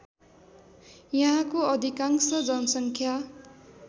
यहाँको अधिकांश जनसङ्ख्या